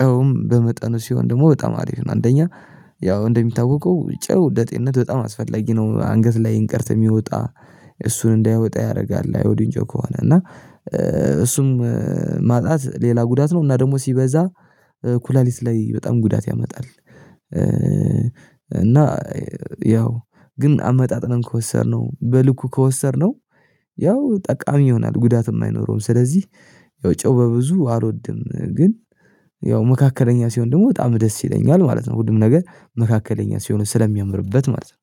ጨውም በመጠኑ ሲሆን ደግሞ በጣም አሪፍ ነው አንደኛ ያው እንደሚታወቀው ጨው ለጤንነት በጣም አስፈላጊ ነው። አንገት ላይ እንቅርት የሚወጣ እሱን እንዳይወጣ ያረጋል የአዮዲን ጨው ከሆነ እና እሱም ማጣት ሌላ ጉዳት ነው። እና ደግሞ ሲበዛ ኩላሊት ላይ በጣም ጉዳት ያመጣል። እና ያው ግን አመጣጥነን ከወሰድነው በልኩ ከወሰድነው ያው ጠቃሚ ይሆናል ጉዳትም አይኖረውም ስለዚህ ያው ጪው በብዙ አልወድም ግን ያው መካከለኛ ሲሆን ደግሞ በጣም ደስ ይለኛል ማለት ነው። ሁሉም ነገር መካከለኛ ሲሆን ስለሚያምርበት ማለት ነው